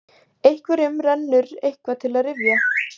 Einhverjum rennur eitthvað til rifja